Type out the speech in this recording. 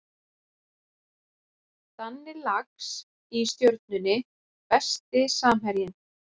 Danni Lax í Stjörnunni Besti samherjinn?